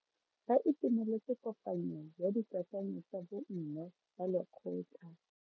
Ba itumeletse kopanyo ya dikakanyo tsa bo mme ba lekgotla.